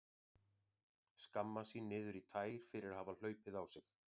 Skammast sín niður í tær fyrir að hafa hlaupið á sig.